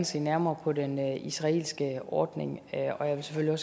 se nærmere på den israelske ordning og jeg vil selvfølgelig